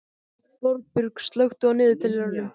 Þorbjörg, slökktu á niðurteljaranum.